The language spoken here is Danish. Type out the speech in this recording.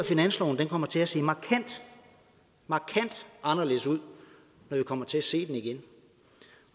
finansloven kommer til at se markant markant anderledes ud når vi kommer til at se den igen